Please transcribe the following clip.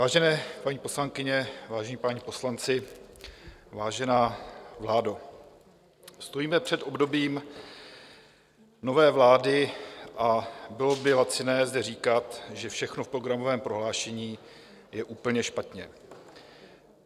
Vážené paní poslankyně, vážení páni poslanci, vážená vládo, stojíme před obdobím nové vlády a bylo by laciné zde říkat, že všechno v programovém prohlášení je úplně špatně.